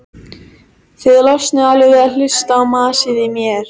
Fékk hann þá inni hjá ekkju með ómegð.